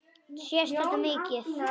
Sést þetta mikið?